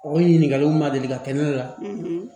O ɲininkaliw ma deli ka kɛ ne la